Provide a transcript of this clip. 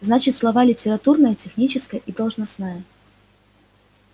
значит слава литературная техническая и должностная